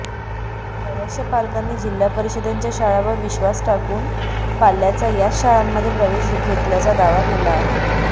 बर्याचशा पालकांनी जिल्हा परिषदेच्या शाळांवर विश्वास टाकून पाल्याचा याच शाळांमध्ये प्रवेश घेतल्याचा दावा केला आहे